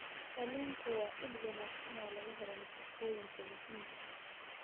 Kalluunku waa il wanaagsan oo laga helo nafaqooyinka muhiimka ah.